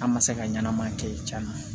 An ma se ka ɲanama kɛ caaya